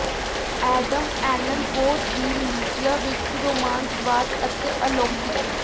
Adam Allan Poe ਦੀ Ligeia ਵਿਚ ਰੋਮਾਂਸਵਾਦ ਅਤੇ ਅਲੌਕਿਕ